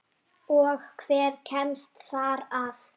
Og hver kemst þar að?